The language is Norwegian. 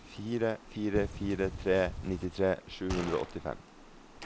fire fire fire tre nittitre sju hundre og åttifem